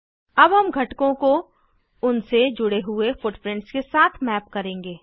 अब हम घटकों को उनसे जुड़े हुए फुटप्रिंट्स के साथ मैप करेंगे